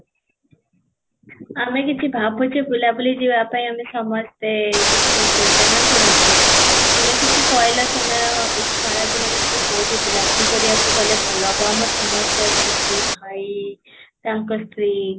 ଆମେ କିଛି ଭାବୁଛୁ ବୁଲା ବୁଲି ଯିବା ପାଇଁ ଆମେ ସମସ୍ତେ କିଛି ଯୋଜନା କରୁଛେ, ତୁମେ କିଛି କହିଲ ତମେ ଏଇ ଖରା ଦିନ ଭିତରେ କୋଉଠି ବୁଲା ବୁଲି କରିବାକୁ ଗଲେ ଭଲ ହବ ଆମେର ସମସ୍ତେ ଅଛନ୍ତି ଭାଇ ତାଙ୍କ ସ୍ତ୍ରୀ